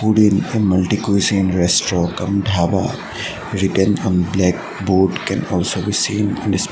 Foodin a multi cuisine restaurant cum dhaba written on black board can also be seen in this pi --